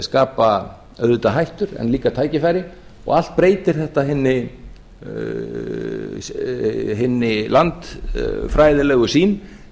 skapa auðvitað hættur en líka tækifæri og allt breytir þetta hinni landfræðilegu sýn